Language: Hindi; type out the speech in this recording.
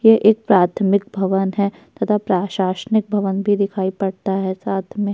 यह एक प्राथमिक भवन है तथा प्राशासनिक भवन भी दिखाई पड़ता है साथ में।